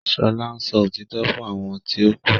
Shola ǹsọ òtítọ́ fún àwọn ti o ku.